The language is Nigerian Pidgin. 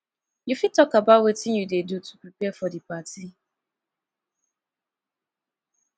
you fit talk about about wetin you dey do to prepare for di party